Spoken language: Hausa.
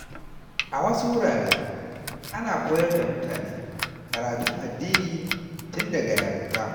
A wasu wurare, ana koyar da mutane karatun addini tun daga yarinta.